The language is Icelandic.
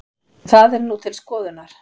Það er nú til skoðunar